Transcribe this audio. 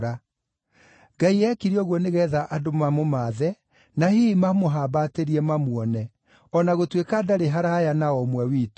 Ngai eekire ũguo nĩgeetha andũ mamũmaathe na hihi mamũhambatĩrie mamuone, o na gũtuĩka ndarĩ haraaya na o ũmwe witũ.